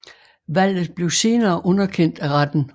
Valget blev senere underkendt af retten